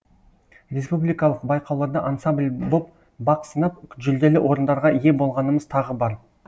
республикалық байқауларда ансамбль боп бақ сынап жүлделі орындарға ие болғанымыз тағы бар